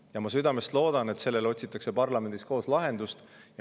Ja ma südamest loodan, et sellele otsitakse parlamendis koos lahendust.